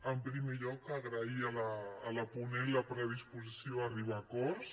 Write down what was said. en primer lloc agrair a la ponent la predisposició a arribar a acords